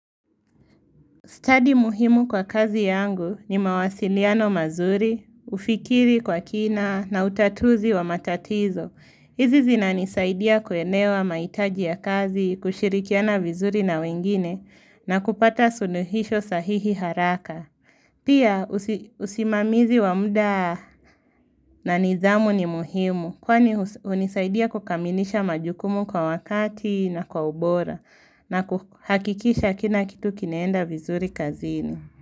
Study muhimu kwa kazi yangu ni mawasiliano mazuri, ufikiri kwa kina na utatuzi wa matatizo. Hizi zinanisaidia kuelewa mahitaji ya kazi, kushirikiana vizuri na wengine na kupata suluhisho sahihi haraka. Pia usimamizi wa muda na nidhamu ni muhimu kwani hunisaidia kukamilisha majukumu kwa wakati na kwa ubora na kuhakikisha kila kitu kinaenda vizuri kazini.